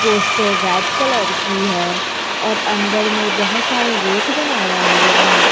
Poster red colour की है और अंदर में बहोत सारे रैक बनाया हुआ है।